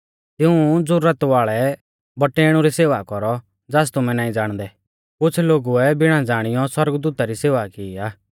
तिऊं ज़ुरत वाल़ै बौटैणु री सेवा कौरौ ज़ास तुमै नाईं ज़ाणदै कैलैकि एथरै ज़ौरिऐ कुछ़ लोगुऐ बिणा ज़ाणीयौ सौरगदूता री सेवा की आ